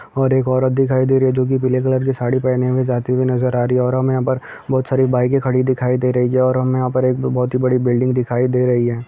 और एक औरत दिखाई दे रही है जो की पीली कलर की साड़ी पहने हुए जाती नजर आ रही है और हमे यहाँ पर बहोत सारी बाइके खड़ी दिखाई दे रही है और हमे यहाँ एक बहोत बडी बिल्डिंग दिखाई दे रही है।